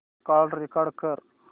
call record कर